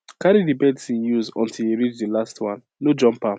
carry the medicine use untill e reach di last one no jump am